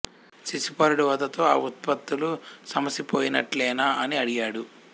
శిశుపాలుడి వధతో ఆ ఉత్పాతాలు సమసి పోయినట్లేనా అని అడిగాడు